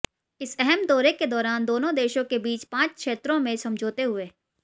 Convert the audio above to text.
इस अहम दौरे के दौरान दोनों देशों के बीच पांच क्षेत्रों में समझौते हुए